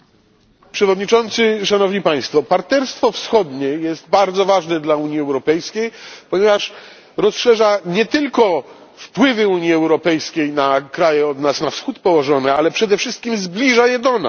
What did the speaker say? Panie Przewodniczący, Szanowni Państwo! Partnerstwo Wschodnie jest bardzo ważne dla Unii Europejskiej, ponieważ rozszerza nie tylko wpływy Unii Europejskiej na kraje położone od nas na wschód, ale przede wszystkim zbliża je do nas.